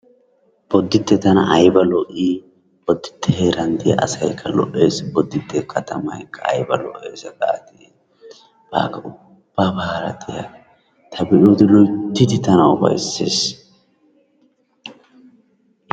Boditte tana ayibba lo'i, Boditte heeran de'iyaa asaykka lo'es, Boditte kaattaykka ayibba lo'es gaadi ubabara diyaa ta be'yodde loyttidi ufaysses.